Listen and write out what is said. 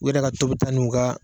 U yɛrɛ ka tobita n'u ka